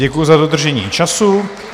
Děkuji za dodržení času.